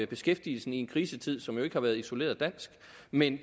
beskæftigelsen i en krisetid som jo ikke har været isoleret dansk men